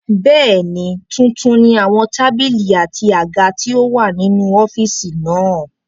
Bẹ́ẹ̀ni, tuntun ni àwọn tábìlì àti àga tí ó wà nínú ọ́fìsì náà